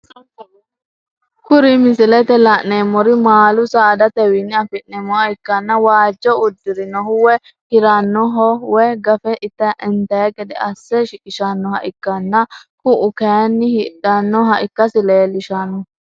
Kuri misilete la'neemori maalu saadatewiini afineemoha ikkana waajjo udirinohu woyi hiranoho woyi gafe intayi gede asse shiqishanoha ikkana ku'u kaayini hidhanoha ikkasi leelishano.